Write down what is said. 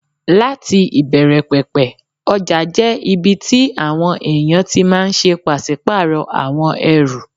Láti ìbẹ̀rẹ̀ pẹ̀pẹ̀, ọjà jẹ́ ibi tí àwọn èèyàn ti máà ń ṣe pàsípàrọ̀ àwọn ẹrù